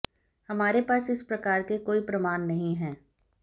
हमारे पास इस प्रकारके कोई प्रमाण नहीं हैं